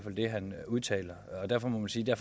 det han udtaler og derfor må man sige at